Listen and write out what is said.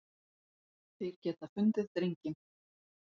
Þeir geta fundið drenginn.